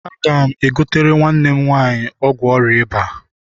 Aga m egotere nwanne m nwaanyị ọgwụ ọrịa ịba.